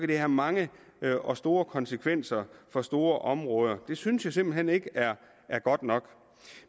det have mange og store konsekvenser for store områder det synes jeg simpelt hen ikke er er godt nok